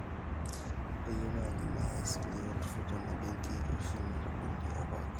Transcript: kayieu naaji naya esile olturur tena benki oshin natabolie apa akaunt